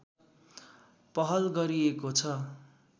पहल गरिएको छ